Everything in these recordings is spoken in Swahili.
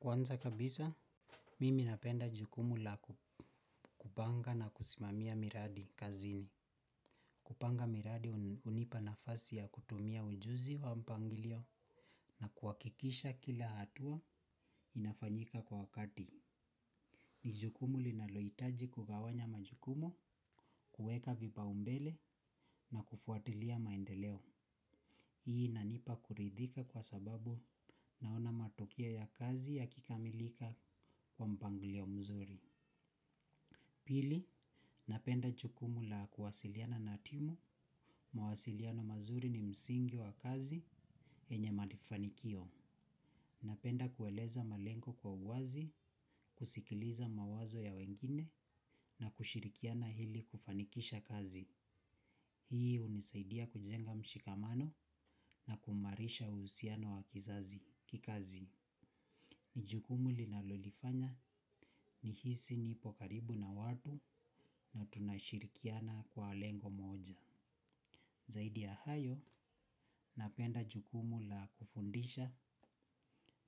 Kwanza kabisa, mimi napenda jukumu la kupanga na kusimamia miradi kazini. Kupanga miradi hunipa nafasi ya kutumia ujuzi wa mpangilio na kuhakikisha kila hatua inafanyika kwa wakati. Ni jukumu linalohitaji kugawanya majukumu, kuweka vipaumbele na kufuatilia maendeleo. Hii inanipa kuridhika kwa sababu naona matokeo ya kazi yakikamilika kwa mpangilio mzuri. Pili, napenda jukumu la kuwasiliana na timu, mawasiliano mazuri ni msingi wa kazi yenye mafanikio. Napenda kueleza malengo kwa uwazi, kusikiliza mawazo ya wengine na kushirikiana ili kufanikisha kazi. Hii hunisaidia kujenga mshikamano na kumarisha uhusiano wa kikazi. Ni jukumu linalolifanya nihisi nipo karibu na watu na tunashirikiana kwa lengo moja. Zaidi ya hayo, napenda jukumu la kufundisha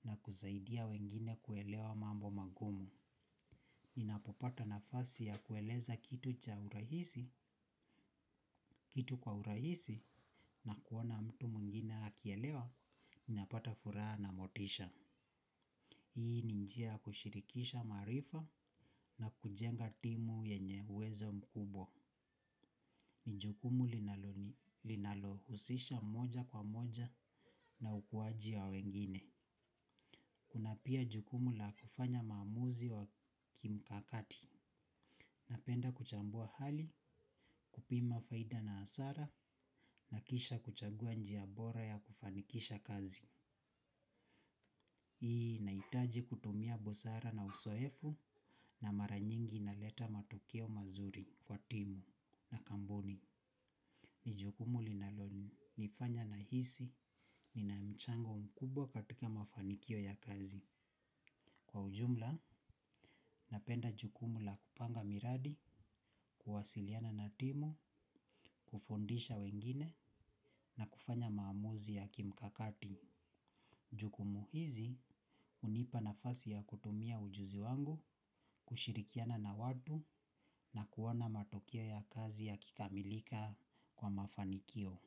na kusaidia wengine kuelewa mambo magumu. Ninapopata nafasi ya kueleza kitu cha urahisi, kitu kwa urahisi na kuona mtu mwingine akielewa, ninapata furaha na motisha. Hii ni njia ya kushirikisha maarifa na kujenga timu yenye uwezo mkubwa. Ni jukumu linalohusisha moja kwa moja na ukuwaji wa wengine kuna pia jukumu la kufanya maamuzi wa kimkakati. Napenda kuchambua hali kupima faida na hasara na kisha kuchagua njia bora ya kufanikisha kazi. Hii, inahitaji kutumia busara na uzoefu na mara nyingi inaleta matukio mazuri kwa timu na kampuni. Ni jukumu linalonifanya nahisi, nina mchango mkubwa katika mafanikio ya kazi. Kwa ujumla, napenda jukumu la kupanga miradi, kuwasiliana na timu, kufundisha wengine na kufanya maamuzi ya kimkakati. Jukumu hizi, hunipa nafasi ya kutumia ujuzi wangu, kushirikiana na watu na kuona matokeo ya kazi yakikamilika kwa mafanikio.